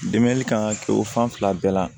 Dɛmɛli kan ka kɛ o fan fila bɛɛ la